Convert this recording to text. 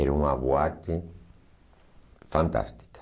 Era uma boate fantástica.